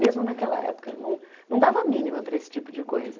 Mesmo naquela época, não não dava mínima para esse tipo de coisa.